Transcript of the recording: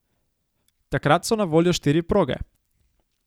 Takrat so na voljo štiri proge.